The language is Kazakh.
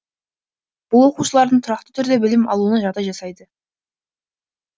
бұл оқушылардың тұрақты түрде білім алуына жағдай жасайды